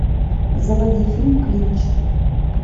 заводи фильм клинч